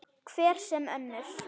Hver sem önnur.